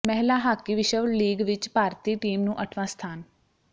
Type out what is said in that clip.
ਮਹਿਲਾ ਹਾਕੀ ਵਿਸ਼ਵ ਲੀਗ ਵਿੱਚ ਭਾਰਤੀ ਟੀਮ ਨੂੰ ਅੱਠਵਾਂ ਸਥਾਨ